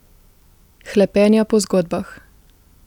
Hlepenja po zgodbah.